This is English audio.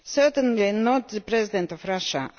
Certainly not the President of Russia.